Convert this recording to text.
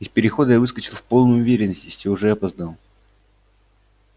из перехода я выскочил в полной уверенности что уже опоздал